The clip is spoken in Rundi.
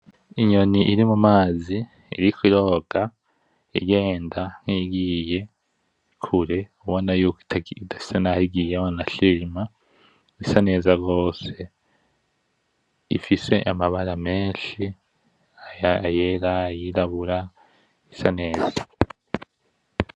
Inyoni iri mumazi iriko iroga, igenda nkiyigiye kure ubona yuko idasa naho igiye wanashimna isa neza gose, ifise amabara menshi, ayera ayirabura isa neza.